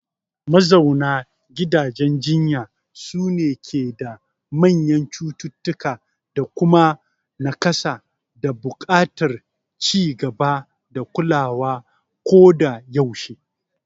Mazauna gidajen jinya sune ke da manyan cututtuka, da kuma nakasa da buƙatar ci gaba da kulawa koda yaushe.